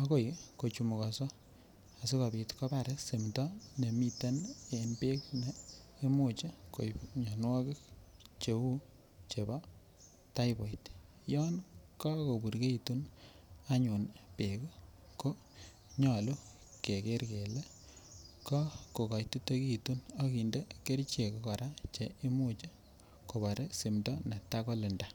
akoi kochumukoso asikopit kobar simdo nemiten en beek ne imuche koib mionwokik cheu chebo typhoid yon kakoburkeitu anyun beek ko nyolu keker kele kakokotitekitu ak kinde kerichek Koraa che cheimuch kobar simdo netakolinda.